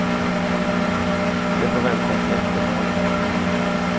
Det får vänta till efter valet.